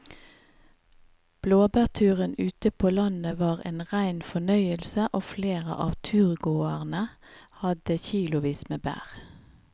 Blåbærturen ute på landet var en rein fornøyelse og flere av turgåerene hadde kilosvis med bær.